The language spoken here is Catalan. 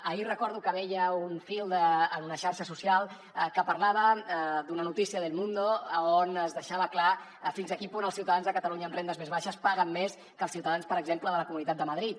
ahir recordo que veia un fil en una xarxa social que parlava d’una notícia d’el mundo on es deixava clar fins a quin punt els ciutadans de catalunya amb rendes més baixes paguen més que els ciutadans per exemple de la comunitat de madrid